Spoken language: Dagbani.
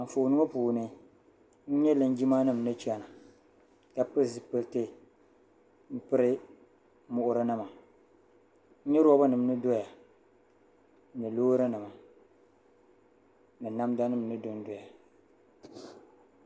Anfooni ŋɔ puuni n nya linjimanima ni chana ka pili zipiliti piri muɣurinima n nya robanima ni doya ni loorinima ni namdanima ni dondoya.